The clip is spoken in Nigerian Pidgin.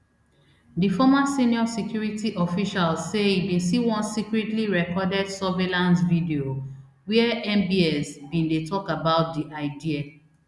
di former senior security official say e bin see one secretly recorded surveillance video wia mbs bin dey tok about di idea